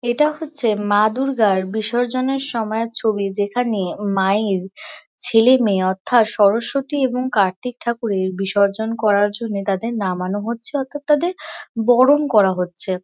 এটা হচ্ছে মা দুর্গার বিসর্জনের সময়ের ছবি যেখানে মায়ের ছেলেমেয়ে অর্থাৎ সরস্বতী এবং কার্তিক ঠাকুরের বিসর্জন করার জন্যে তাদের নামানো হচ্ছে অৰ্থাৎ তাদের বরণ করা হচ্ছে।